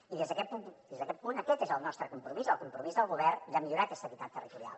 i des d’aquest punt aquest és el nostre compromís el compromís del govern de millorar aquesta equitat territorial